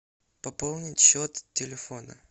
пополнить счет телефона